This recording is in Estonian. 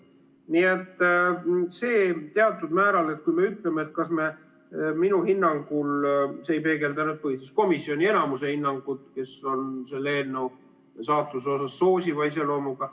Nii et minu hinnangul see ei peegelda põhiseaduskomisjoni enamuse hinnangut, mis on selle eelnõu saatuse puhul soosiva iseloomuga.